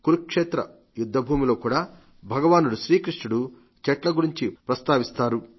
కురుక్షేత్ర యుద్ధభూమిలో కూడా భగవానుడు శ్రీ కృష్ణుడు చెట్ల గురించి ప్రస్తావిస్తారు